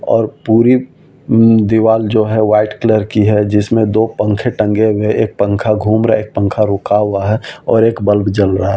और पूरी म दीवार जो है वाइट कलर की है जिसमें दो पंखे टंगे हुए एक पंखा घूम रहा है एक पंखा रुका हुआ है और एक बल्ब जल रहा है।